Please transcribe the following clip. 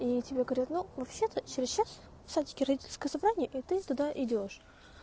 и тебе говорят ну вообще-то через час в садике родительское собрание и туда идёшь